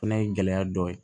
Fana ye gɛlɛya dɔ ye